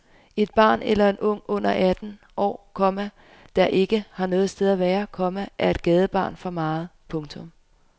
Et barn eller en ung under atten år, komma der ikke har noget sted at være, komma er et gadebarn for meget. punktum